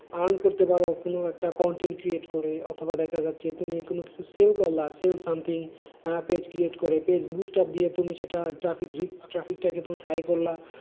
Earn করতে পারো কোনো একটা content create করে অথবা দেখা যাচ্ছে তুমি কোন sell করলা something page create করে page boost up দিয়ে তুমি সেটা traffic traffic টা কে তুমি high করলা,